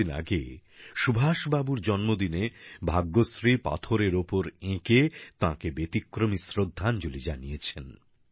কিছুদিন আগে সুভাষবাবুর জন্মদিনে ভাগ্যশ্রী পাথরের ওপর এঁকে তাঁকে ব্যতিক্রমী শ্রদ্ধাঞ্জলি জানিয়েছেন